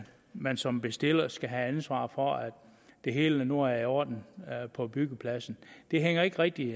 man som bestiller skal have ansvaret for at det hele nu er i orden på byggepladsen det hænger ikke rigtig